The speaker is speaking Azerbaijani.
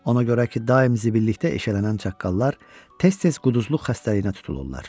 Ona görə ki, daim zibillikdə eşələnən çaqqallar tez-tez quduzluq xəstəliyinə tutulurlar.